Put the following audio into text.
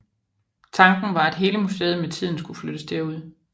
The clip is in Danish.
Tanken var at hele museet med tiden skulle flyttes derud